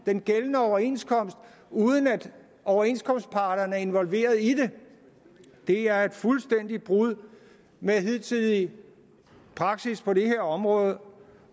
den gældende overenskomst uden at overenskomstparterne er involveret i det det er et fuldstændigt brud med hidtidig praksis på det her område